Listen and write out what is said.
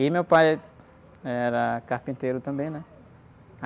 E meu pai, eh, era carpinteiro também, né?